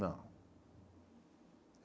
Não.